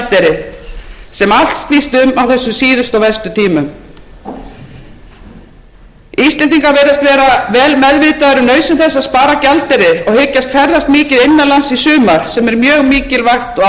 gjaldeyri sem allt snýst um á þessum síðustu og verstu tímum íslendingar virðast vera vel meðvitaðir um nauðsyn þess að spara gjaldeyri og hyggjast ferðast mikið innanlands í sumar sem er mjög mikilvægt og ánægjulegt fyrir